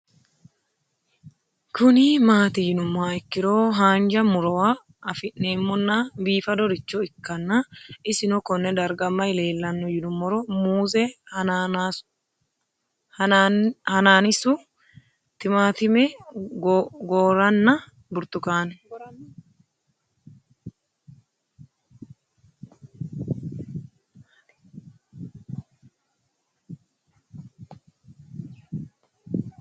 Kuni mati yinumoha ikiro hanja murowa afine'mona bifadoricho ikana isino Kone darga mayi leelanno yinumaro muuze hanannisu timantime gooranna buurtukaane